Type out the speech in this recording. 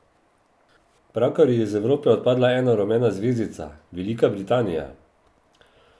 Pravkar je iz Evrope odpadla ena rumena zvezdica, Velika Britanija.